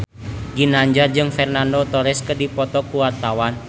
Ginanjar jeung Fernando Torres keur dipoto ku wartawan